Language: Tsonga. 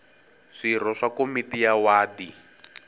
swirho swa komiti ya wadi